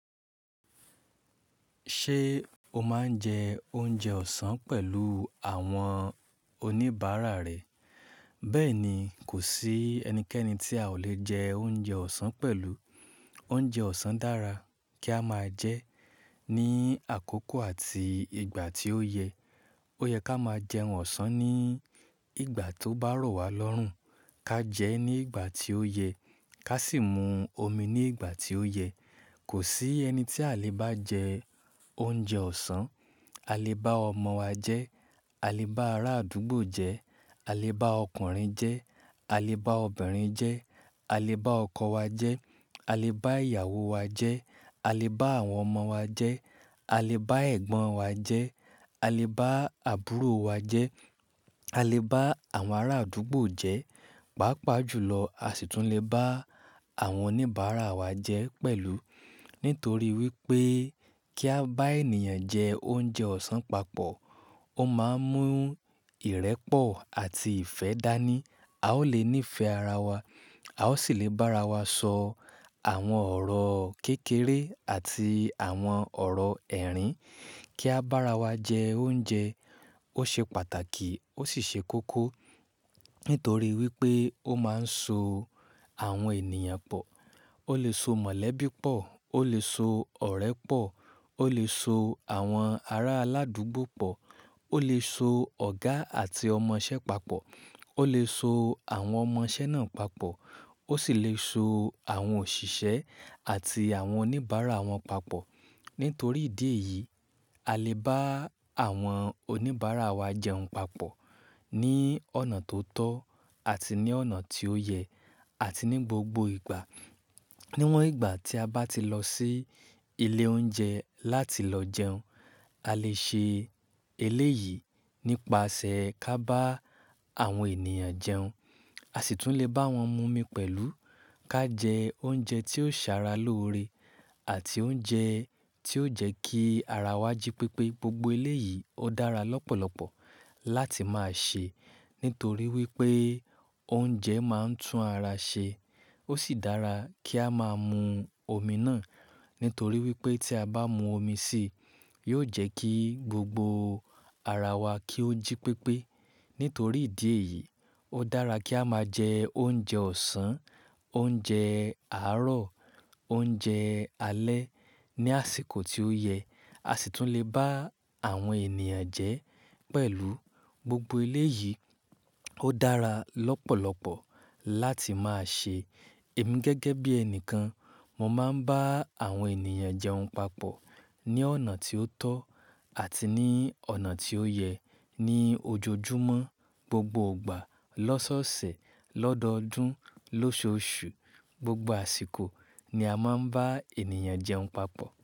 Ṣé o máa ń jẹ oúnjẹ ọ̀sán pẹ̀lú àwọn oníbàárà rẹ? Bẹ́ẹ̀ ni, kò sí ẹnikẹ́ni tí a ò le jẹ oúnjẹ ọ̀sán pẹ̀lú. Oúnjẹ ọ̀sán dára kí a máa jẹ ẹ́ ní àkókò àti ìgbà tí ó yẹ. Ó yẹ ka máa jẹ ohun ọ̀sán ní ìgbà tó bá rọ̀ wá lọ́rùn, ká jẹ ẹ́ ní ìgbà tí ó yẹ, ká sì mú omi ní ìgbà tí ó yẹ. Kò sí ẹni tí a lè bá jẹ oúnjẹ ọ̀sán. A lè bá ọmọ wa jẹ́, a lè bá ará àdúgbò jẹ́, a lè bá ọkùnrin jẹ́, a lè bá obìnrin jẹ́, a lè bá ọkọ wa jẹ́, a lè bá ìyàwó wa jẹ́, a lè bá àwọn ọmọ wa jẹ́, a lè bá ẹ̀gbọ́n wa jẹ́, a lè bá àbúrò wa jẹ́, a lè bá àwọn ará àdúgbò jẹ́, pàápàá jùlọ a sì tún lè bá àwọn oníbàárà wa jẹ́ pẹ̀lú. Nítorí wípé kí a bá ènìyàn jẹ oúnjẹ ọ̀sán papọ̀, ó máa ń mú ìrẹ́pọ̀ àti ìfẹ́ dání. A ó lè nífẹ̀ẹ́ ara wa, a ó sì lè bá ara wa sọ àwọn ọ̀rọ̀ kékeré àti àwọn ọ̀rọ̀ ẹ̀rín. Kí a bá ara wa jẹ oúnjẹ, ó ṣe pàtàkì ó sì ṣe kókó. Nítorí wípé ó máa ń so àwọn ènìyàn pọ̀. Ó lè so mọ̀lẹ́bí pọ̀, ó lè so ọ̀rẹ́ pọ̀, ó lè so àwọn ará aládùúgbò pọ̀, ó lè so ọ̀gá àti ọmọṣẹ́ papọ̀, ó lè so àwọn ọmọṣẹ́ náà papọ̀, ó sì lè so àwọn òṣìṣẹ́ àti àwọn oníbàárà wọn papọ̀. Nítorí ìdí èyí, a lè bá àwọn oníbàárà wa jẹun papọ̀ ní ọ̀nà tó tọ́ àti ní ọ̀nà tí ó yẹ àti ní gbogbo ìgbà. Níwọn ìgbà tí a bá ti lọ sí ilé oúnjẹ láti lọ jẹun, a lè ṣe eléyìí nípasẹ̀ ká bá àwọn ènìyàn jẹun. A sì tún lè bá wọn mú omi pẹ̀lú. Ká jẹ oúnjẹ tí ó ṣàrà lóre àti oúnjẹ tí ó jẹ́ kí ara wa jí pépé. Gbogbo eléyìí ó dára lọ́pọ̀lọpọ̀ láti máa ṣe, nítorí wípé oúnjẹ máa ń tún ara ṣe. Ó sì dára kí a máa mú omi náà, nítorí wípé tí a bá mú omi sì, yóò jẹ́ kí gbogbo ara wa kí ó jí pépé. Nítorí ìdí èyí, ó dára kí a máa jẹ oúnjẹ ọ̀sán, oúnjẹ àárọ̀, oúnjẹ alẹ́ ní àsìkò tí ó yẹ. A sì tún lè bá àwọn ènìyàn jẹ́ pẹ̀lú. Gbogbo eléyìí ó dára lọ́pọ̀lọpọ̀ láti máa ṣe. Èmi gẹ́gẹ́ bí ẹnìkan, mo máa ń bá àwọn ènìyàn jẹun papọ̀ ní ọ̀nà tí ó tọ́ àti ní ọ̀nà tí ó yẹ. Ní ojojúmọ́, gbogbo ìgbà, lọ́sọ̀ọsẹ̀, lọ́dọdún, lóṣoṣù, gbogbo àsìkò ni a máa ń bá ènìyàn jẹun papọ̀.